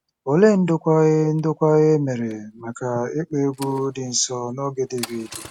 Olee ndokwa e ndokwa e mere maka ịkpọ egwú dị nsọ n’oge Devid?